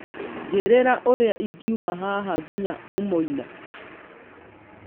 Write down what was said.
njĩriĩra ũria ingiũma haha nginya umoina